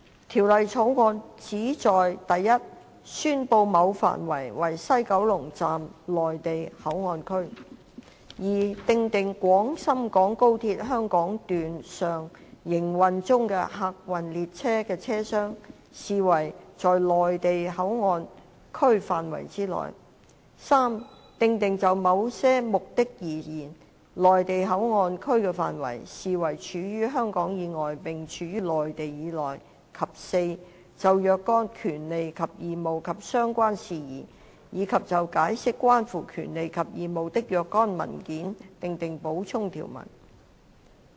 《條例草案》旨在一宣布某範圍為西九龍站內地口岸區；二訂定廣深港高鐵香港段上營運中的客運列車的車廂，視為在西九龍站內地口岸區範圍之內；三訂定就某些目的而言，西九龍站內地口岸區的範圍，視為處於香港以外並處於內地以內；及四就若干權利及義務及相關事宜，以及就解釋關乎權利及義務的若干文件，訂定補充條文。